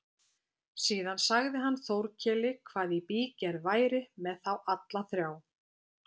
Síðan sagði hann Þórkeli hvað í bígerð væri með þá alla þrjá.